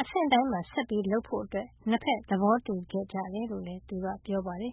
အဆင့်တိုင်းမှာ ဆက်လုပ်ဖို့ နှစ်ဖက် သဘောတူခဲ့ကြတယ်လို့လည်း သူက ပြောပါတယ်